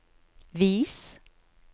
vis